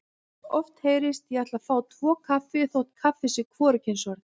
Oft heyrist: Ég ætla að fá tvo kaffi þótt kaffi sé hvorugkynsorð.